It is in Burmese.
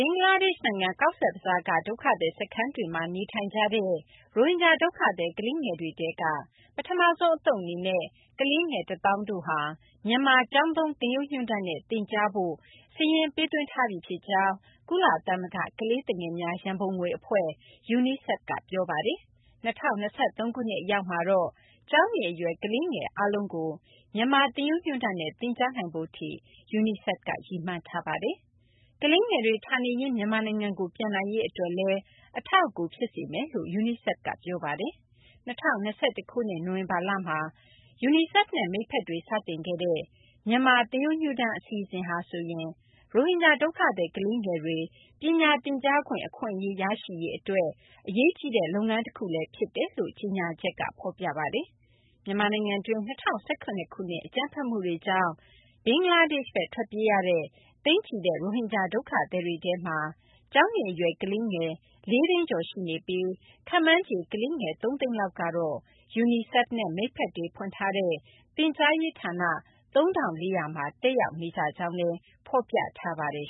င်္ဂလားဒေရှ့် နိုင်ငံ ကောဇ့်ဘဇားက ဒုက္ခသည် စခန်းတွေမှာ နေထိုင်ကြတဲ့ ရိုဟင်ဂျာ ဒုက္ခသည် ကလေးငယ်တွေထဲက ပထမဆုံး အသုတ် အနေနဲ့ ကလေးငယ် ၁၀,၀၀၀ တို့ဟာ မြန်မာ ကျောင်းသုံး သင်ရိုးညွှန်းတမ်းနဲ့ သင်ကြားဖို့ စာရင်းပေးသွင်းထားကြောင်း ကုလသမဂ္ဂ ကလေးသူငယ်များ ရံပုံငွေ အဖွဲ့ UNICEF က ပြောဆိုထားပါတယ်။ ၂၀၂၃ ခုနှစ် အရောက်မှာတော့ ကျောင်းနေအရွယ် ကလေးငယ် အားလုံးကို မြန်မာ သင်ရိုးညွှန်းတမ်းနဲ့ သင်ကြားနိုင်ဖို့ထိ UNICEF က ရည်မှန်းထားတာပါ။ ကလေးငယ်တွေ ဌာနေရင်း မြန်မာနိုင်ငံကို ပြန်နိုင်ရေး အတွက်လည်း အထောက်အကူ ဖြစ်စေမယ်လို့ UNICEF က ပြောပါတယ်။ ၂၀၂၁ ခုနှစ် နိုဝင်ဘာလမှာ UNICEF နဲ့ မိတ်ဖက်တွေ စတင်ခဲ့ဲ့တဲ့ မြန်မာ သင်ရိုးညွှန်းတမ်း အစီအစဉ် ဟာဆိုရင် ရိုဟင်ဂျာ ဒုက္ခသည် ကလေးငယ်တွေ ပညာသင်ကြားခွင့် အခွင့်အရေး ရရှိရေး အတွက် အရေးကြီးတဲ့ လုပ်ငန်းတခုလည်း ဖြစ်တယ်လို့ ကြေညာချက်က ဖော်ပြပါတယ်။ မြန်မာနိုင်ငံတွင်း ၂၀၁၇ ခုနှစ် အကြမ်းဖက်မှုတွေကြောင့် ဘင်္ဂလားဒေရှ့်ဘက် ထွက်ပြေးရတဲ့ သိန်းချီတဲ့ ရိုဟင်ဂျာ ဒုက္ခသည်တွေထဲမှာ ကျောင်းနေအရွယ် ကလေးငယ် ၄၀၀,၀၀၀ကျော် ရှိနေပြီး ခန့်မှန်းခြေ ကလေးငယ် ၃၀၀,၀၀၀ လောက်ကတော့ UNICEF နဲ့ မိတ်ဖက်တွေ ဖွင့်ထားတဲ့ သင်ကြားရေး ဌာန ၃,၄၀၀ မှာ တက်ရောက်နေကြကြောင်းလည်း ဖော်ပြပါတယ်